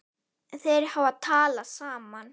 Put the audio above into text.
Þeir hafa talað saman.